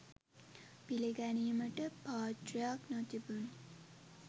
පිළිගැනීමට පාත්‍රයක් නොතිබුණි.